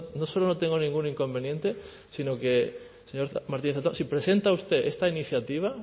no solo no tengo ningún inconveniente sino que señor martínez zatón si presenta usted esta iniciativa